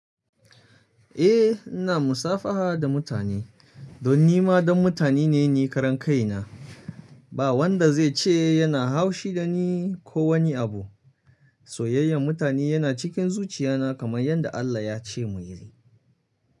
Eh ina musafaha da mutane don nima dan mutane ne ni karan kai na. Ba wanda zai ce yana haushi da ni ko wani abu. Soyayyar mutane yana cikin zuciya na kamar yadda Allah ya ce muyi.